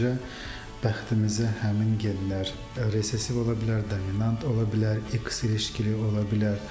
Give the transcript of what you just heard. Sadəcə bəxtimizə həmin genlər ressesiv ola bilər, dominant ola bilər, X ilişikləri ola bilər.